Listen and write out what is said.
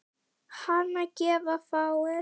Hana gefa fáir.